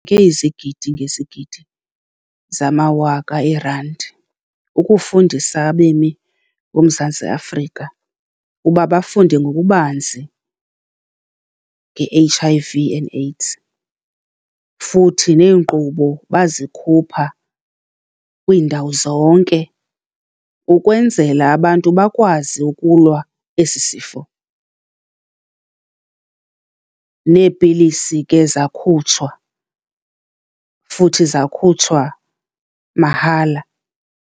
Ngezigidi ngezigidi zamawaka eerandi, ukufundisa abemi boMzantsi Afrika uba bafunde ngokubanzi nge-H_I_V and AIDS futhi neenkqubo bazikhupha kwiindawo zonke, ukwenzela abantu bakwazi ukulwa esi sifo. Neepilisi ke zakhutshwa, futhi zakhutshwa mahala.